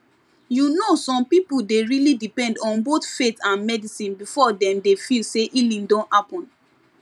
you know some people dey really depend on both faith and medicine before dem dey feel say healing don happen